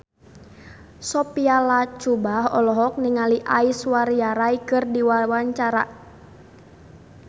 Sophia Latjuba olohok ningali Aishwarya Rai keur diwawancara